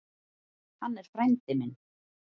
Hann er frændi minn.